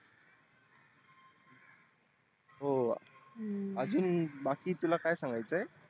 हो अजून बाकी तुला काय सांगायच आहे